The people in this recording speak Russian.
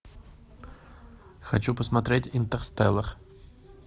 хочу посмотреть интерстеллар